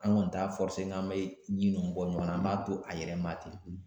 An kɔni t'a n k'an bɛ ɲin ninnu bɔ ɲɔgɔn na an b'a to a yɛrɛ ma ten